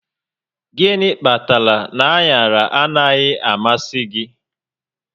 Gịnị kpatara na aṅaraanaghị amasị gị?